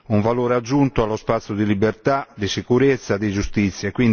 un valore aggiunto allo spazio di libertà, di sicurezza, di giustizia.